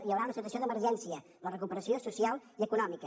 hi haurà una situació d’emergència la recuperació social i econòmica